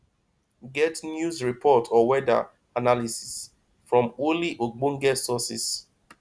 get news report or weather analysis from only ogbenge sources